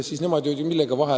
Millega nemad vahele jäid?